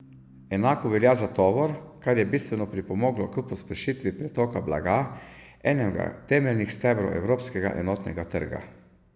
Enako velja za tovor, kar je bistveno pripomoglo k pospešitvi pretoka blaga, enega temeljnih stebrov evropskega enotnega trga.